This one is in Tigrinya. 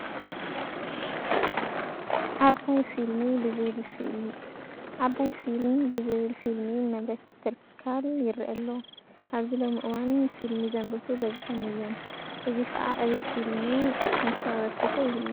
ዓባይ ፊልምብ ዝብል ፊልሚ መምረቲ ትካል ይርአ ኣሎ፡፡ ኣብዚ ሎሚ እዋን ፊልሚ ዘምርቱ በዚሖም እዮም፡፡ እዚ ከ ኣብ ዕብየት ፊልሚ እንታ ኣበርክቶ ይህልዎ?